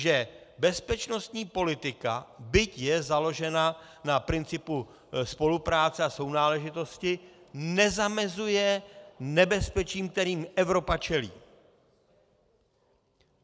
Že bezpečnostní politika, byť je založena na principu spolupráce a sounáležitosti, nezamezuje nebezpečím, kterým Evropa čelí.